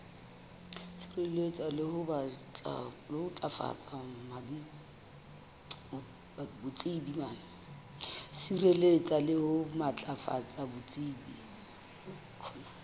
sireletsa le ho matlafatsa botsebi